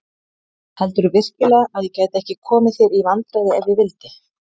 Heldurðu virkilega að ég gæti ekki komið þér í vandræði ef ég vildi?